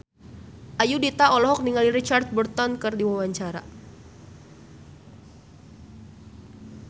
Ayudhita olohok ningali Richard Burton keur diwawancara